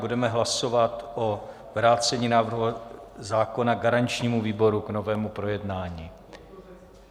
Budeme hlasovat o vrácení návrhu zákona garančnímu výboru k novému projednání.